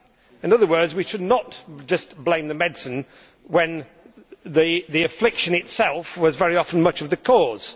In other words, we should not just blame the medicine when the affliction itself was very often much of the cause.